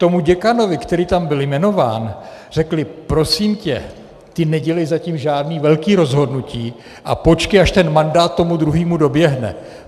Tomu děkanovi, který tam byl jmenován, řekli: Prosím tě, ty nedělej zatím žádný velký rozhodnutí a počkej, až ten mandát tomu druhýmu doběhne.